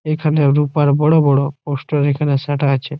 এখানে রুপার বড় বড় পোস্টার এখানে সাঁটা আছে ।